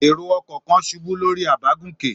Èrò-ọkọ̀ kan ṣubú lórí àbágùnkè?